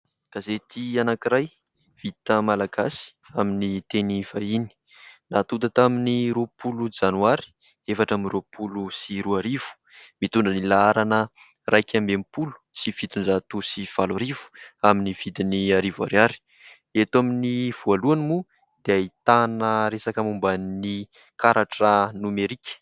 Gazety anankiray vita malagasy amin'ny teny vahiny natonta tamin'ny roapolo janoary efatra amby roapolo sy roa arivo, mitondra ny laharana iraik'amby enimpolo sy fitonjato sy valo arivo, amin'ny vidiny arivo ariary. Eto amin'ny voalohany moa dia ahitana resaka momban'ny karatra nomerika.